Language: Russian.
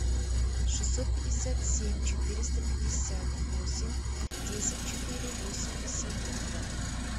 шестьсот пятьдесят семь четыреста пятьдесят восемь десять четыре восемьдесят два